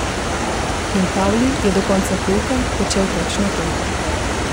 In Pavli je do konca pouka počel točno to.